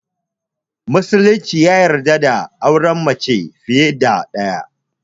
Musulunci ya yarda da auren mace fiye da ɗaya